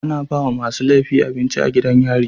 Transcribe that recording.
Ana bawa masu lefi abinci a gidan yari